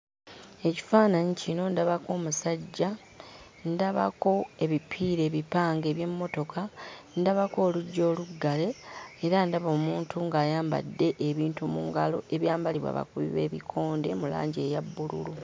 Ekifaananyi kino ndabako omusajja, ndabako ebipiira ebipange eby'emmotoka, ndabako oluggi oluggale era ndaba omuntu ng'ayambadde ebintu mu ngalo ebyambalibwa abakubi b'ebikonde mu langi eya bbululu.